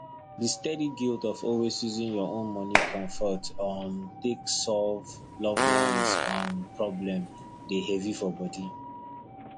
the steady guilt of always using your own money comfort um take solve loved ones um problem dey heavy for body